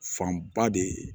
Fanba de ye